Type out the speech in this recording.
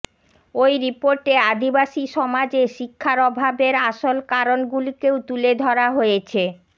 ওই রিপোর্টে আদিবাসী সমাজে শিক্ষার অভাবের আসল কারণ গুলিকেও তুলে ধরা হয়েছে